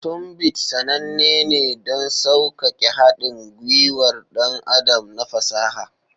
Tunbit sananne ne don sauƙaƙe haɗin gwiwar ɗan adam na fasaha.